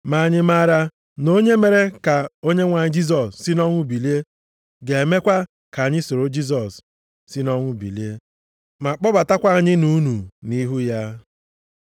ma anyị maara na onye mere ka Onyenwe anyị Jisọs si nʼọnwụ bilie, ga-emekwa ka anyị soro Jisọs si nʼọnwụ bilie, ma kpọbatakwa anyị na unu nʼihu ya.